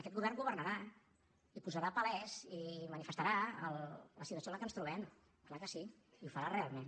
aquest govern governarà i farà palès i manifestarà la situació en la que ens trobem clar que sí i ho farà realment